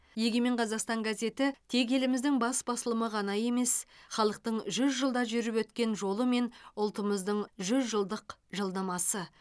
егемен қазақстан газеті тек еліміздің бас басылымы ғана емес халықтың жүз жылда жүріп өткен жолы мен ұлтымыздың жүз жылдық жылнамасы